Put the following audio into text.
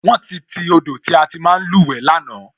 Wón ti ti odò tí a ti ń máa luwe lánàá